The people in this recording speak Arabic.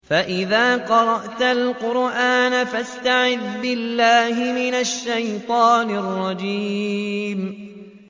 فَإِذَا قَرَأْتَ الْقُرْآنَ فَاسْتَعِذْ بِاللَّهِ مِنَ الشَّيْطَانِ الرَّجِيمِ